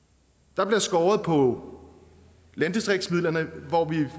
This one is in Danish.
der bliver skåret på landdistriktsmidlerne